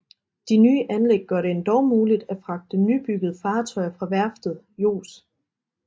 De nye anlæg gør det endog muligt at fragte nybyggede fartøjer fra værftet Jos